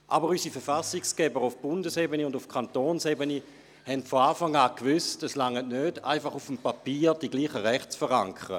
Aber unsere Verfassungsgeber auf Bundes- und auf Kantonsebene haben von Anfang an gewusst, dass es nicht reicht, einfach auf dem Papier die gleichen Rechte zu verankern.